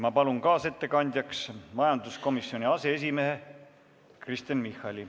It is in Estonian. Ma palun kaasettekandjaks majanduskomisjoni aseesimehe Kristen Michali.